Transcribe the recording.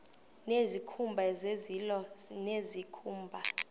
nezikhumba zezilo nezikhumba